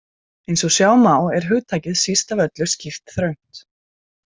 Eins og sjá má er hugtakið síst af öllu skýrt þröngt.